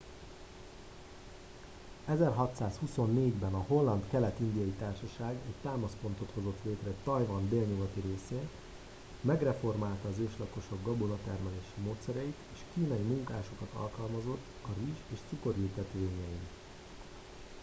1624 ben a holland kelet indiai társaság egy támaszpontot hozott létre tajvan délnyugati részén megreformálta az őslakosok gabonatermelési módszereit és kínai munkásokat alkalmazott a rizs és cukorültetvényein